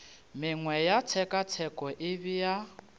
mengwe ya tshekatsheko e bea